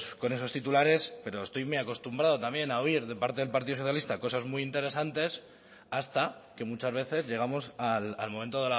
con esos titulares pero estoy muy acostumbrado también a oír de parte del partido socialista cosas muy interesantes hasta que muchas veces llegamos al momento